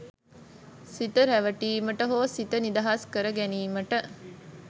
සිත රැවටීමට හෝ සිත නිදහස් කරගැනීමට